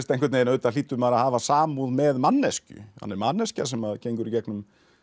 auðvitað hlýtur maður að hafa samúð með manneskju hann er manneskja sem gengur í gegnum